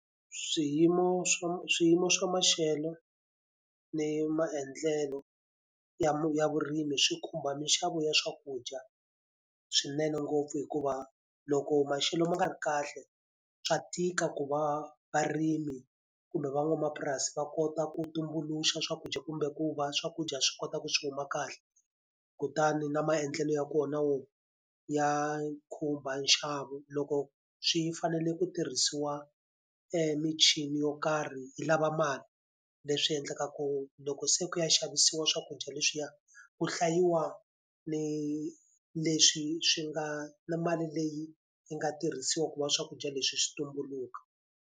Swiyimo swa swiyimo swa maxelo, ni maendlelo ya ya vurimi swi khumba minxavo ya swakudya swinene ngopfu hikuva, loko maxelo ma nga ri kahle swa tika ku va varimi kumbe van'wamapurasi va kota ku tumbuluxa swakudya kumbe ku va swakudya swi kota ku swi huma kahle. Kutani na maendlelo ya kona na wona ya khumba nxavo. Loko swi fanele ku tirhisiwa michini yo karhi yi lava mali, leswi endlaka ku loko se ku ya xavisiwa swakudya leswiya ku hlayiwa ni leswi swi nga na mali leyi yi nga tirhisiwa ku va swakudya leswi swi tumbuluka.